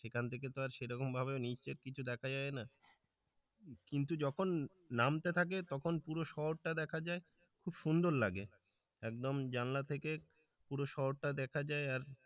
এখান থেকে তো আর সেরকমভাবে নিচে কিছু দেখা যায় না কিন্তু যখন নামতে থাকে তখন পুরো শহরটা দেখা যায় খুব সুন্দর লাগে একদম জানলা থেকে পুরো শহর টা দেখা যায় আর,